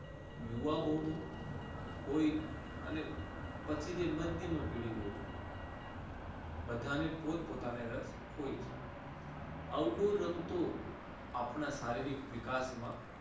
યુવાનો નું હું હોય અને પછી તે મધ્ય ની પીઢિ હોય બધાને પોતપોતાને રસ હોય છે, outdoor રમતો આપણા શારીરિક વિકાસમાં